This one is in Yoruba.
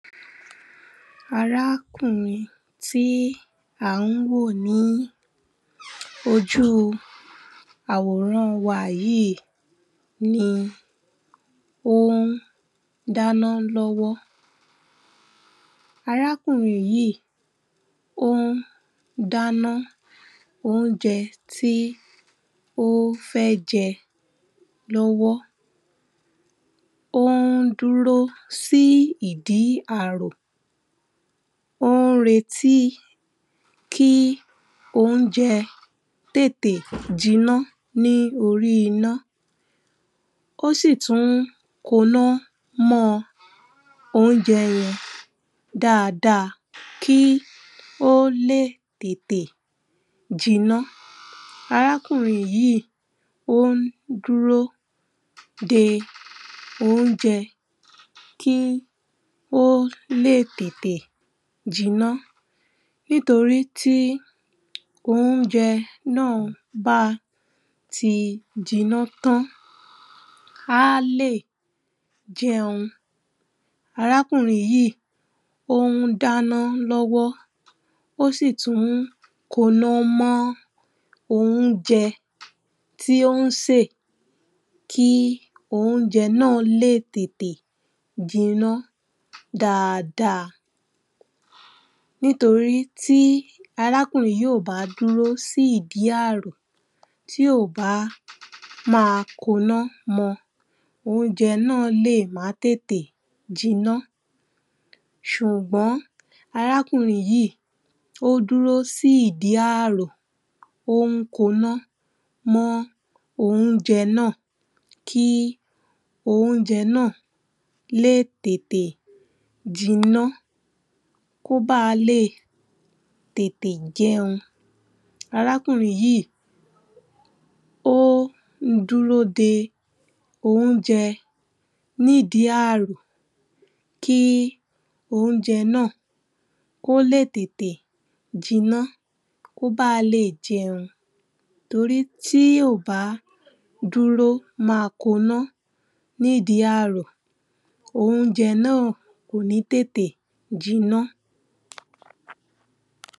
Arákùnrin tí à ń wò ní ojú àwòrán wa yìí ni ó ń dáná lọ́wọ́ Arákùnrin yìí ó ń dáná oúnjẹ tí ó fẹ́ jẹ lọ́wọ́, ó ń dúró sí ìdí àrò ó ń retí kí oúnjẹ tètè jinná ní orí iná ó sì tún koná mọ́ oúnjẹ yẹn dáadáa kí ó lè tètè jinná arákùnrin yìí ó ń dúró de oúnjẹ kí ó lè tètè jinná nítorí tí oúnjẹ náà bá ti jinná tán á lè jẹun. Àrákùnrin yìí ó ń dáná lọ́wọ́ ó sì tún ń koná mọ́ oúnjẹ tí ó ń sè kí oúnjẹ náà lè tètè jinná dáadáa nítorí tí arákùnrin yìí kò bá dúró sí ìdí àrò, tí kò bá máa koná mọ oúnjẹ náà lè má tètè jinná ṣùgbọ́n arákùnrin yìí ó dúró sí ìdí àrò ó ń koná mọ́ oúnjẹ náà kí oúnjẹ náà lè tètè jinná kí ó ba lè tètè jẹun.arákùnrin yìí ó ń dúró de oúnjẹ ní ìdí àrò kí oúnjẹ náà kó lè tètè jinná kí ó bá lè jẹun tórí tí kò bá dúró máa koná ní ìdí àrò oúnjẹ náà kò ní tètè jinná